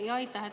Aitäh!